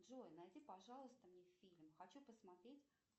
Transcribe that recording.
джой найди пожалуйста мне фильм хочу посмотреть